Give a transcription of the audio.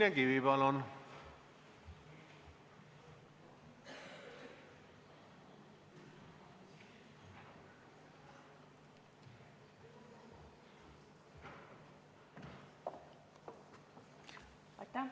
Signe Kivi, palun!